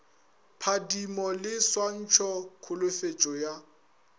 phadimo le swantšha kholofetšo ya